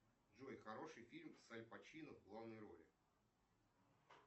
джой хороший фильм с аль пачино в главной роли